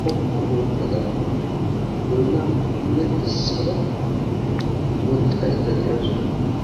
xoqqu oottada, goynaa pude essada woxxaydda de'awusu.